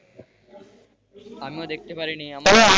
আমিও দেখতে পারিনি,